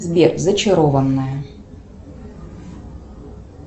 сбер зачарованная